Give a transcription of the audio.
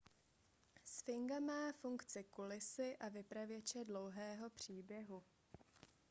sfinga má funkci kulisy a vypravěče dlouhého příběhu